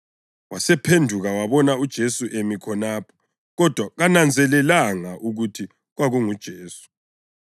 Wasephenduka wabona uJesu emi khonapho, kodwa kananzelelanga ukuthi kwakunguJesu.